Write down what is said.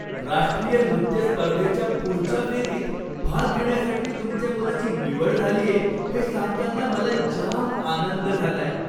राष्ट्रीय नृत्य स्पर्धेच्या पुढच्या फेरीत भाग घेण्यासाठी तुमच्या मुलाची निवड झालीये हे सांगताना मला जाम आनंद झालाय.